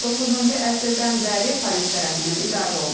19-cu əsrdən bəri Paris tərəfindən idarə olunur.